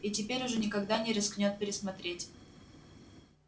и теперь уже никогда не рискнёт пересмотреть